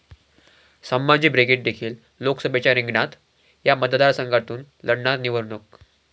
Sambhaji brigade देखील लोकसभेच्या रिंगणात, 'या' मतदारसंघातून लढणार निवडणूक